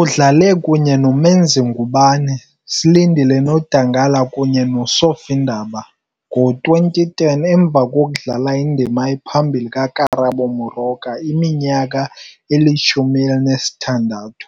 Udlale kunye noMenzi Ngubane, Slindile Nodangala kunye no Sophie Ndaba . Ngo-2010, emva kokudlala indima ephambili kaKarabo Moroka iminyaka eyi-16,